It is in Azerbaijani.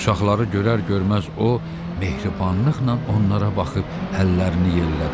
Uşaqları görər-görməz o mehribanlıqla onlara baxıb əllərini yellədi.